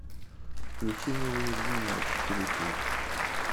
включи неуязвимые четыре кей